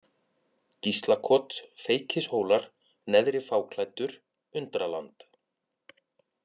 Gíslakot, Feykishólar, Neðri-Fáklæddur, Undraland